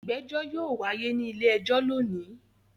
Ìgbẹ́jọ́ yóò wáyé ní ilé-ẹjọ́ lónìí.